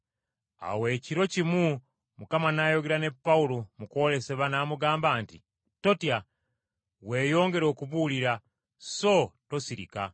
Awo ekiro kimu Mukama n’ayogera ne Pawulo mu kwolesebwa, n’amugamba nti, “Totya! Weeyongere okubuulira, so tosirika!